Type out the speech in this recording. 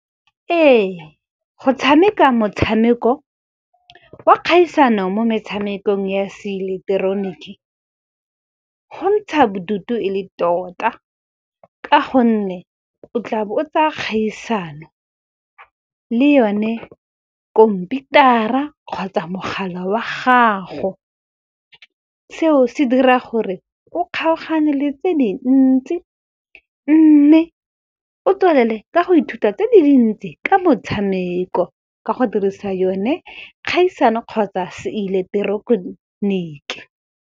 Ee, go tshameka motshameko wa kgaisano mo metshamekong ya seileketeroniki, go ntsha bodutu e le tota ka gonne o tla bo o tsaya kgaisano le yone khomputara kgotsa mogala wa gago. Seo se dira gore ko kgaogane le tse dintsi mme o tswelele ka go ithuta tse di dintsi ka motshameko, ka go dirisa yone kgaisano kgotsa seileketeroniki.